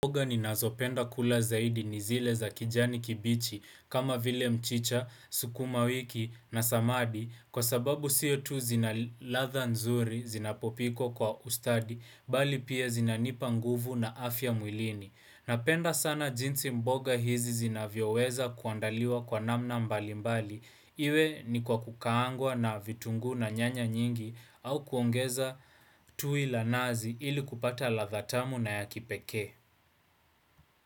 Mboga ninazopenda kula zaidi ni zile za kijani kibichi, kama vile mchicha, sukuma wiki na samadi, kwa sababu sio tu zinaladha nzuri, zinapopikwa kwa ustadi, bali pia zinanipa nguvu na afya mwilini. Napenda sana jinsi mboga hizi zinavyoweza kuandaliwa kwa namna mbalimbali. Iwe ni kwa kukaangwa na vitunguu na nyanya nyingi au kuongeza tui la nazi ili kupata ladha tamu na ya kipekee.